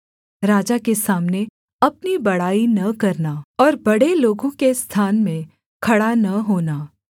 राजा के सामने अपनी बड़ाई न करना और बड़े लोगों के स्थान में खड़ा न होना